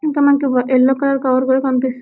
ఇక్కడ మనకి ఒక యెల్లో కలర్ కవర్ కూడా కనిపి--